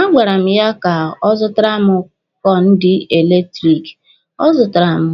A gwara m ya ka ọ zụtara m kọnditi eletiriki, ọ zụtara m